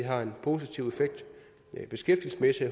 har en positiv beskæftigelsesmæssig